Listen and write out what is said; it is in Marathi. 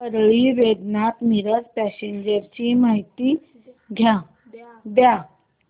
परळी वैजनाथ मिरज पॅसेंजर ची माहिती द्या